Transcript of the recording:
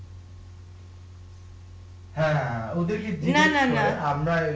না না না